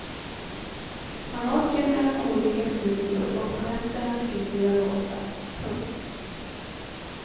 Man åker mellan olika studior och på nätterna skriver jag låtar. punkt